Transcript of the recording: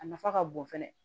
A nafa ka bon fɛnɛ